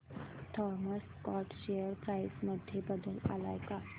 Thomas Scott share price मध्ये बदल आलाय का